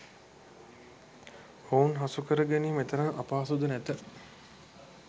ඔවුන් හසුකරගැනීම එතරම් අපහසුද නැත